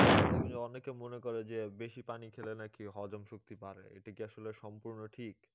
অনেকে মনে করে যে বেশি পানি খেলে নাকি হজম শক্তি বাড়ে এটা কি আসলে সম্পূর্ণ ঠিক?